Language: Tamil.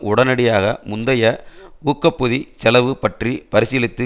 உடனடியாக முந்தைய ஊக்கப்பொதி செலவு பற்றி பரிசீலித்து